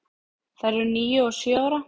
Þær eru níu og sjö ára.